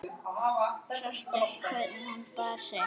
Sástu hvernig hún bar sig.